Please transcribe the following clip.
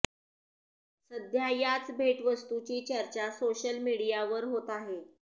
सध्या याच भेटवस्तूची चर्चा सोशल मीडियावर होत आहे